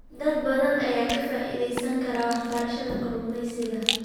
Dad badan ayaa ka faa'iideysan kara waxbarashada kalluumeysiga.